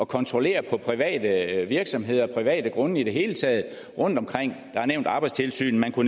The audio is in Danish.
kontrollere på private virksomheder og på private grunde i det hele taget rundtomkring der er nævnt arbejdstilsynet og